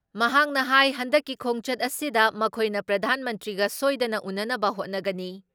ꯃꯍꯥꯛꯅ ꯍꯥꯥꯏ ꯍꯟꯗꯛꯀꯤ ꯈꯣꯡꯆꯠ ꯑꯁꯤꯗ ꯃꯈꯣꯏꯅ ꯄ꯭ꯔꯙꯥꯟ ꯃꯟꯇ꯭ꯔꯤꯒ ꯁꯣꯏꯗꯅ ꯎꯅꯅꯕ ꯍꯣꯠꯅꯒꯅꯤ